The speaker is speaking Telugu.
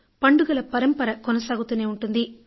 పండుగల పరంపర కొనసాగుతూనే ఉంటుంది